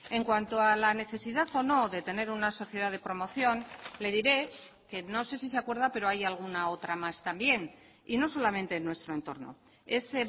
en cuanto a la necesidad o no de tener una sociedad de promoción le diré que no sé si se acuerda pero hay alguna otra más también y no solamente en nuestro entorno es